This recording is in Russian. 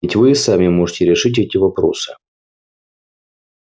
ведь вы и сами можете решить эти вопросы